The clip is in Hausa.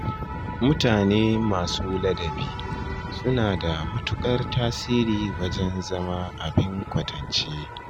Mutane masu ladabi suna da matuƙar tasiri wajen zama abin ƙwatance